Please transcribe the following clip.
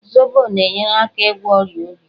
Zobo na-enyere aka ịgwọ ọrịa obi.